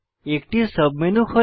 একটি সাবমেনু খোলে